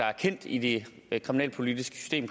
er kendt i det kriminalpolitiske system